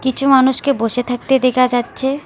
কিছু মানুষকে বসে থাকতে দেখা যাচ্ছে।